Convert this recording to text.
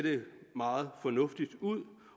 meget fornuftigt ud